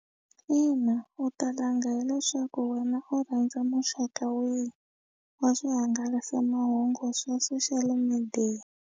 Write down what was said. Ina u ta langa hileswaku wena u rhandza muxaka wini wa swihangalasamahungu swa social media.